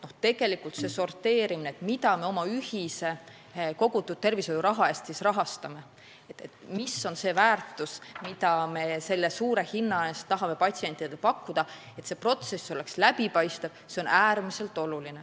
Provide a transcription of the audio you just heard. See sorteerimine, mida me oma ühise kogutud tervishoiuraha eest rahastame, selle selgitamine, mis on see väärtus, mida me selle hinna eest tahame patsientidele pakkuda, ning see, et protsess oleks läbipaistev, on äärmiselt oluline.